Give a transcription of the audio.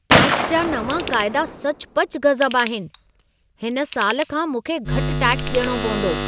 Tax जा नवां क़ाइदा सचुपचु गज़ब आहिनि। हिन साल खां मूंखे घटि टैक्स ॾियणो पवंदो!